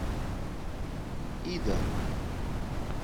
ида